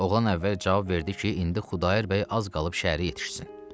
Oğlan əvvəl cavab verdi ki, indi Xudayar bəy az qalıb şəhərə yetişsin.